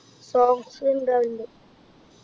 songs ഉണ്ടാകലുണ്ട്